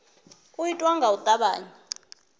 u itwa nga u tavhanya